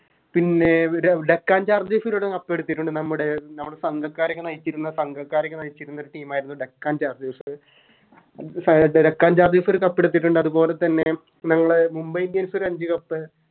പിന്നെ വിര Deccan chargers ഒരൂട്ട Cup എടുത്തിട്ടുണ്ട് നമ്മുടെ നമ്മുടെ സംഘക്കാരെയൊക്കെ നയിച്ചിരുന്ന സംഘക്കാരെയൊക്കെ നയിച്ചിരുന്ന ഒരു Team ആയിരുന്നു Deccan chargers Deccan chargers ഒരു Cup എടുത്തിട്ടുണ്ട് അത് പോൽത്തന്നെ നമ്മളെ Mumbai indians ഓരഞ്ച് Cup